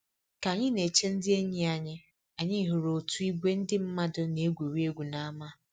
Ka anyị na-eche ndị enyi anyị, anyị hụrụ otu ìgwè ndị mmadụ na-egwuri egwu n'ámá